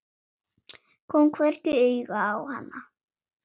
Kom hvergi auga á hana.